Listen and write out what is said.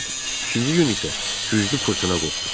İkinci gün isə güclü fırtına qopdu.